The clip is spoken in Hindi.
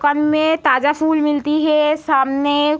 दुकान में ताज़ा फूल मिलती है। सामने --